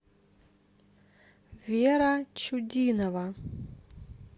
вера чудинова